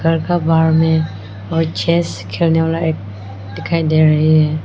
घर का बाहर में वो चेस खेलने वाला एक दिखाई दे रही है।